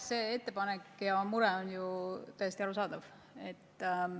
See ettepanek ja teie mure on täiesti arusaadavad.